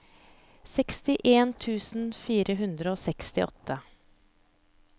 sekstien tusen fire hundre og sekstiåtte